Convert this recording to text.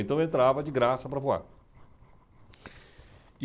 Então eu entrava de graça para voar.